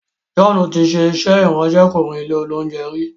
John tí ṣe iṣé Ìráńṣẹ́kùnrin ilé-oúnjẹ rí.